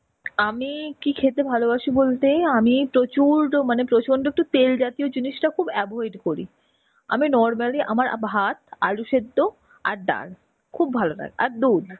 আমি কি খেতে ভালোবাসি বলতে আমি প্রচুর উল্টো মানে প্রচন্ড একটু তেল জাতীয় জিনিষটা একটু avoid করি. আমি normally আমার ভাত, আলু সেদ্ধ আর ডাল. খুব ভালো হয়. আর দুধ.